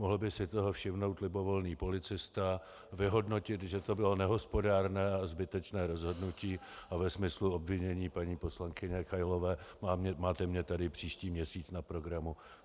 Mohl by si toho všimnout libovolný policista, vyhodnotit, že to bylo nehospodárné a zbytečné rozhodnutí, a ve smyslu obvinění paní poslankyně Kailové máte mě tady příští měsíc na programu.